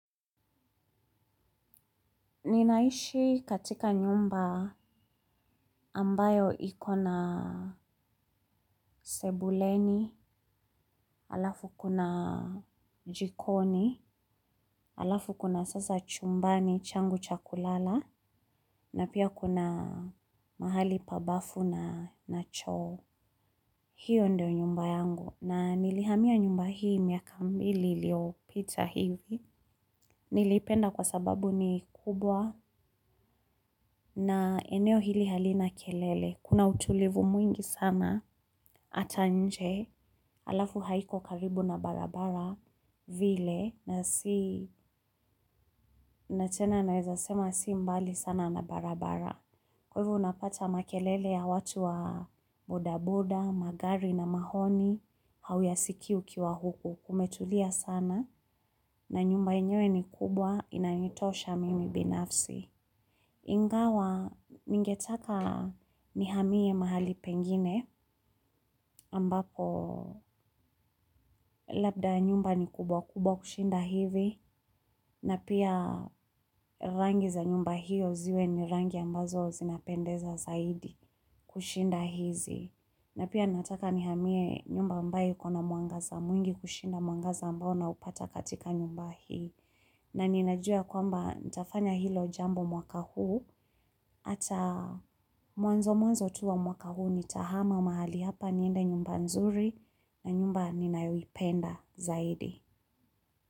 Ninaishi katika nyumba ambayo iko na sebuleni, alafu kuna jikoni, alafu kuna sasa chumbani changu cha kulala, na pia kuna mahali pa bafu na na choo. Hiyo ndo nyumba yangu na nilihamia nyumba hii miaka mbili iliyopita hivi niliipenda kwa sababu ni kubwa na eneo hili halina kelele kuna utulivu mwingi sana hata nje alafu haiko karibu na barabara vile na si na tena naweza sema si mbali sana na barabara. Kwa hivyo unapata makelele ya watu wa bodaboda, magari na mahoni hauyasikii ukiwa huku kumetulia sana na nyumba yenyewe ni kubwa inanitosha mimi binafsi. Ingawa ningetaka nihamie mahali pengine ambapo labda nyumba ni kubwa kubwa kushinda hivi na pia rangi za nyumba hiyo ziwe ni rangi ambazo zinapendeza zaidi kushinda hizi. Na pia nataka nihamie nyumba ambayo ikona mwangaza mwingi kushinda mwangaza ambao naupata katika nyumba hii. Na ninajua ya kwamba nitafanya hilo jambo mwaka huu. Hata mwanzo mwanzo tu wa mwaka huu nitahama mahali hapa niende nyumba nzuri na nyumba ninayoipenda zaidi.